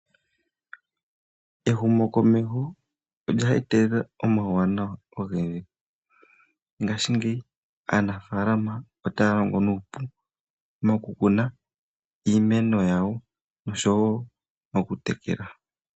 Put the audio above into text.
Ehumo komeho olya etelela uuwanawa owundji, ngashingeyi aanafalama otaya longo nuupu moku kuna iimeno yawo oshowo oku tekela.